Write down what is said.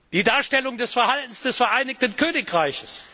Die Darstellung des Verhaltens des Vereinigten Königreichs.